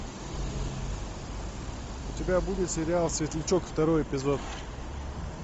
у тебя будет сериал светлячок второй эпизод